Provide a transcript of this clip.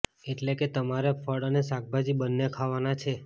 એટલે કે તમારે ફળ અને શાકભાજી બંને ખાવાનાં છે